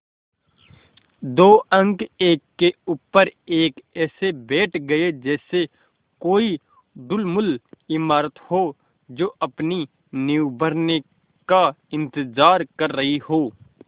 दो अंक एक के ऊपर एक ऐसे बैठ गये जैसे कोई ढुलमुल इमारत हो जो अपनी नींव भरने का इन्तज़ार कर रही हो